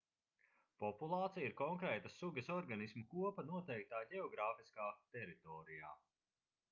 populācija ir konkrētas sugas organismu kopa noteiktā ģeogrāfiskā teritorijā